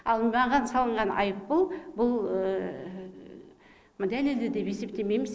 ал маған салынған айыппұл бұл дәлелді деп есептемейміз